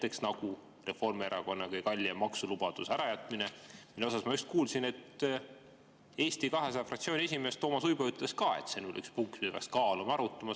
Näiteks nagu Reformierakonna kõige kallima maksulubaduse ärajätmine, mille kohta ma just kuulsin, et Eesti 200 fraktsiooni esimees Toomas Uibo ütles ka, et see on üks punkt, mida peaks kaaluma, arutama.